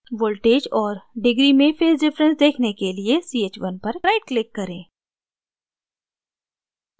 voltages और degree में phase difference देखने के लिए ch1 पर right click करें